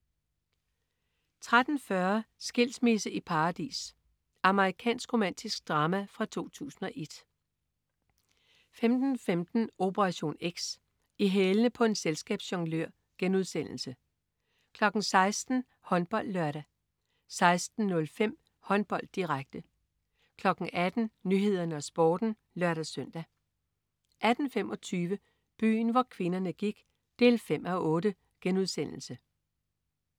13.40 Skilsmisse i paradis. Amerikansk romantisk drama fra 2001 15.15 Operation X. I hælene på en selskabsjonglør* 16.00 HåndboldLørdag 16.05 Håndbold, direkte 18.00 Nyhederne og Sporten (lør-søn) 18.25 Byen hvor kvinderne gik 5:8*